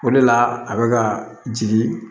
O de la a bɛ ka jigin